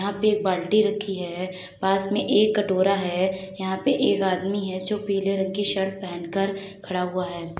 यहाँ पे एक बाल्टी रखी है पास मे एक कटोरा है यहाँ पे एक आदमी है जो पीले रंग की शर्ट पहन कर खड़ा हुआ है।